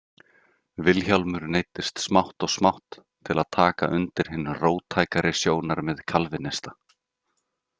Vilhjálmur neyddist smátt og smátt til að taka undir hin róttækari sjónarmið kalvínista.